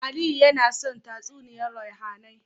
Aliyu naya son tatsumiyar ruhAnai